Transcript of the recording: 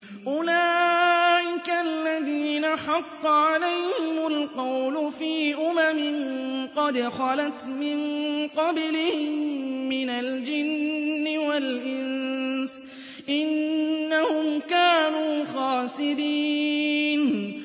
أُولَٰئِكَ الَّذِينَ حَقَّ عَلَيْهِمُ الْقَوْلُ فِي أُمَمٍ قَدْ خَلَتْ مِن قَبْلِهِم مِّنَ الْجِنِّ وَالْإِنسِ ۖ إِنَّهُمْ كَانُوا خَاسِرِينَ